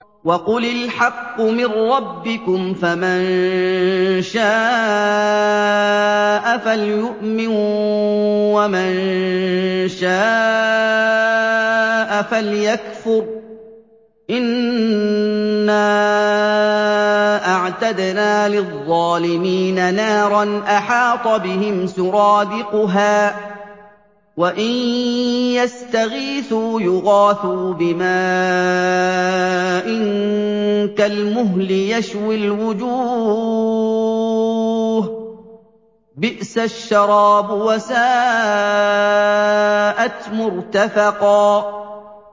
وَقُلِ الْحَقُّ مِن رَّبِّكُمْ ۖ فَمَن شَاءَ فَلْيُؤْمِن وَمَن شَاءَ فَلْيَكْفُرْ ۚ إِنَّا أَعْتَدْنَا لِلظَّالِمِينَ نَارًا أَحَاطَ بِهِمْ سُرَادِقُهَا ۚ وَإِن يَسْتَغِيثُوا يُغَاثُوا بِمَاءٍ كَالْمُهْلِ يَشْوِي الْوُجُوهَ ۚ بِئْسَ الشَّرَابُ وَسَاءَتْ مُرْتَفَقًا